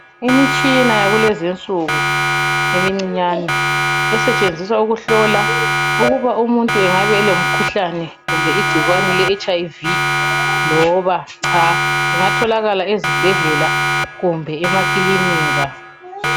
Imitshina yakulezi insuku imincinyane. Esetshenziswa ukuhlola ukuthi umuntu angabe elegcikwane leHIV, loba cha. Ingatholakala ezibhedlela loba emakilinika.